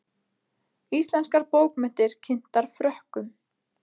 Íslenskar bókmenntir kynntar Frökkum